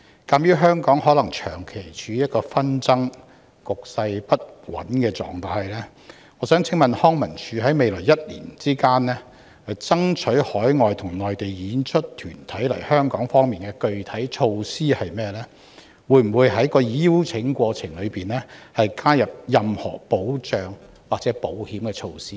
鑒於紛爭可能持續，令香港長期處於局勢不穩的狀態，康文署在未來一年有否任何具體措施，爭取海外及內地團體來港演出，例如會否在邀請過程中加入任何保障或保險措施？